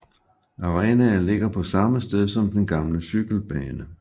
Arenan ligger på samme sted som den gamle cykelbane